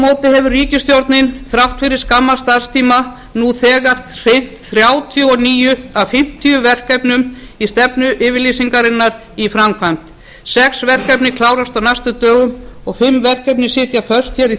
móti hefur ríkisstjórnin þrátt fyrir skamman starfstíma nú þegar sinnt þrjátíu og níu af fimmtíu verkefnum stefnuyfirlýsingarinnar í framkvæmd sex verkefni klárast á næstu dögum og fimm verkefni sitja föst í